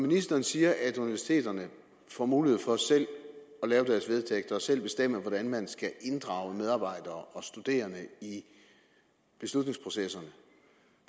ministeren siger at universiteterne får mulighed for selv at lave deres vedtægter og selv bestemme hvordan de skal inddrage medarbejdere og studerende i beslutningsprocesserne